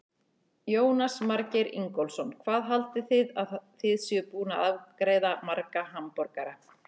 Jónas Margeir Ingólfsson: Hvað haldið þið að þið séuð búin að afgreiða marga hamborgara?